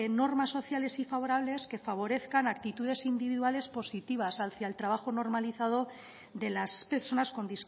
normas sociales y favorables que favorezcan actitudes individuales positivas hacia el trabajo normalizado de las personas con